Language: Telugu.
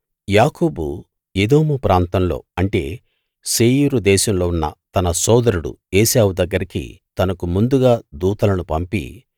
యాకోబు ఎదోము ప్రాంతంలో అంటే శేయీరు దేశంలో ఉన్న తన సోదరుడు ఏశావు దగ్గరికి తనకు ముందుగా దూతలను పంపి